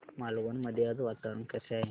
मालवण मध्ये आज वातावरण कसे आहे